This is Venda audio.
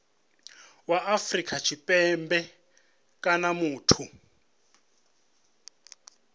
wa afrika tshipembe kana muthu